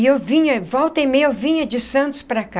E eu vinha... volta e meia eu vinha de Santos para cá.